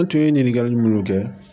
N tun ye ɲininkali munnu kɛ